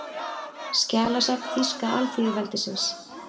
Skjalasafn Þýska alþýðulýðveldisins